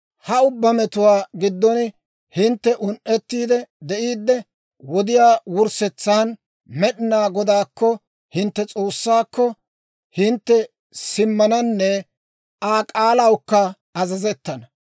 Ha ubbaa metuwaa giddon hintte un"ettiide de'iide, wodiyaa wurssetsan Med'inaa Godaakko, hintte S'oossaakko, hintte simmananne Aa k'aalawukka azazettana.